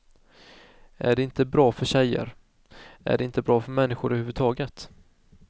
Är det inte bra för tjejer, är det inte bra för människor över huvudtaget.